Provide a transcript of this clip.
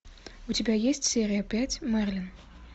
у тебя есть серия пять мерлин